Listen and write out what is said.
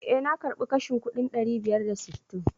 Eh, na karbi kashin kuɗin ɗari biyar da sittin.